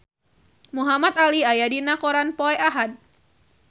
Muhamad Ali aya dina koran poe Ahad